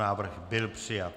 Návrh byl přijat.